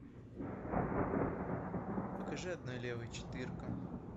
покажи одной левой четыре ка